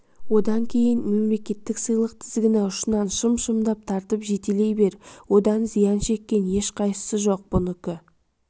одан кейін мемлекеттік сыйлық тізгіні ұшынан шым-шымдап тартып жетелей бер одан зиян шеккен ешқайсысы жоқ бұнікі